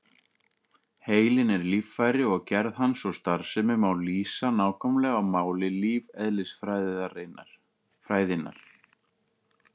Heilinn er líffæri og gerð hans og starfsemi má lýsa nákvæmlega á máli lífeðlisfræðinnar.